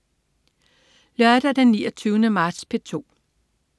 Lørdag den 29. marts - P2: